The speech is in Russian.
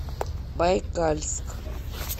байкальск